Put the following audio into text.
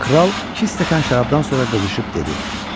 Kral iki stəkan şərabdan sonra qızışıb dedi: